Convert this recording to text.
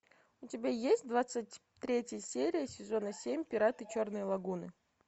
у тебя есть двадцать третья серия сезона семь пираты черной лагуны